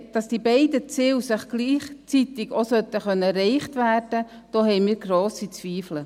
Dass die beiden Ziele auch gleichzeitigt erreicht werden sollten, da haben wir grosse Ziele.